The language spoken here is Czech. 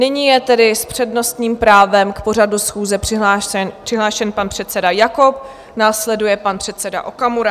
Nyní je tedy s přednostním právem k pořadu schůze přihlášen pan předseda Jakob, následuje pan předseda Okamura.